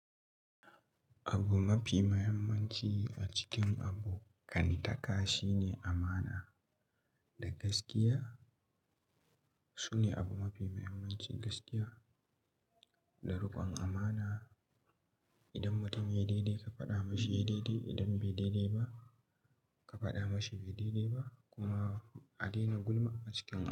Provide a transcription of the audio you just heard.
Abu mafi muhimmanci a cikin abokantaka shine amana da gaskiya. Sune abu mafi muhimmanci, gaskiya da rikon amana. Idan mutum yayi daidai, ka faɗa mashi yayi daidai. Idan baiyi daidai ba, ka faɗa mashi baiyi daidai ba kuma a daina gulma a cikin abu.